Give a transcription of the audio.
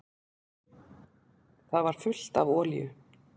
Það var fullt af olíu.